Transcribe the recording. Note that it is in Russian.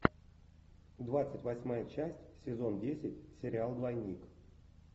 двадцать восьмая часть сезон десять сериал двойник